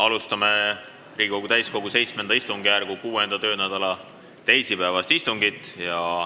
Alustame Riigikogu täiskogu VII istungjärgu 6. töönädala teisipäevast istungit.